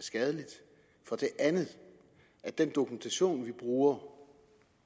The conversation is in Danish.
skadeligt for det andet at den dokumentation vi bruger